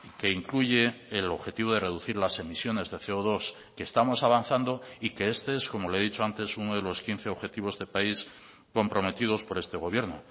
que incluye el objetivo de reducir las emisiones de ce o dos que estamos avanzando y que este es como le he dicho antes uno de los quince objetivos de país comprometidos por este gobierno